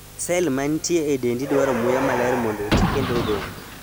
Sel mantie e dendi dwaro muya maler mondo oti kendo odong�.